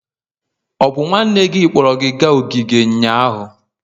Ọ bụ nwanne gị kpọrọ gị gaa ogige ụnyahụ?